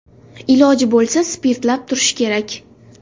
Iloji bo‘lsa, spirtlab turish kerak.